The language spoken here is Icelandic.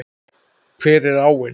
Hver er áin?